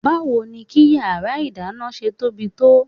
Báwo ni kí yàrá ìdáná ṣe tóbi tó?